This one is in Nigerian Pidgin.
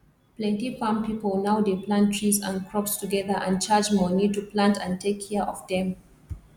plenty farm pipo now dey plant trees and crops together and charge money to plant and take care of dem